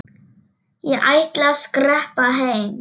Ég ætla að skreppa heim.